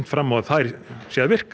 fram á að þær virki